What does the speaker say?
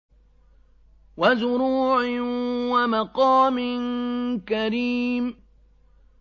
وَزُرُوعٍ وَمَقَامٍ كَرِيمٍ